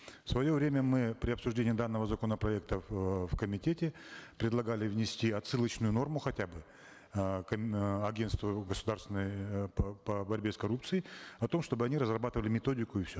в свое время мы при обсуждении данного законопроекта в эээ в комитете предлагали внести отсылочную норму хотя бы э э агентству государственной э по борьбе с коррупцией о том чтобы они разрабатывали методику и все